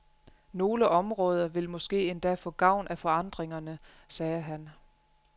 Nogle områder vil måske endda få gavn af forandringerne, sagde han.